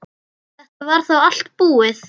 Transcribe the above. Þetta var þá allt búið.